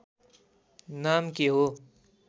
नाम के हो